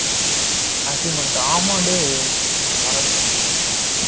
assignment ஆமாம் டேய் ஆமா மறந்துட்டேன்